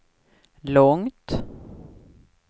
långt